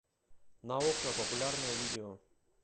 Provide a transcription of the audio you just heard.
наука популярное видео